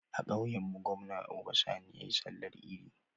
A kauyan mu gwamna Uba Sani yayi sallar idi